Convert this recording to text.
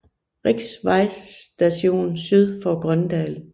Richs Vej Station syd for Grøndal